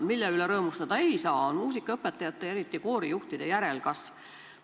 Mille üle rõõmustada ei saa, on muusikaõpetajate, eriti koorijuhtide järelkasv.